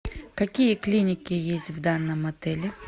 какие клиники есть в данном отеле